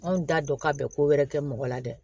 Anw t'a dɔn ka bɛn ko wɛrɛ kɛ mɔgɔ la dɛ